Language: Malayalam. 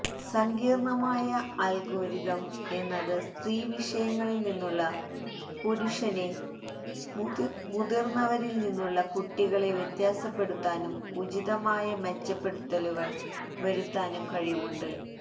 സങ്കീര്ണ്ണമായ അല്ഗോരിതം എന്നത് സ്ത്രീ വിഷയങ്ങളില് നിന്നുളള പുരുഷനെ മുതില്ന്നവരില് നിന്നുളള കുട്ടികളെ വ്യത്യാസപ്പെടുത്താനും ഉചിതമായ മെച്ചപ്പെടുത്തലുകള് വരുത്താനും കഴിവുണ്ട്